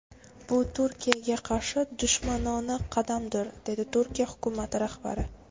Bu Turkiyaga qarshi dushmanona qadamdir”, dedi Turkiya hukumati rahbari.